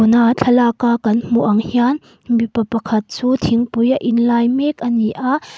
tuna thlalak a kan hmu ang hian mipa pakhat chu thing pui a in lai mek a ni a.